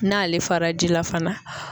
N'ale fara ji la fana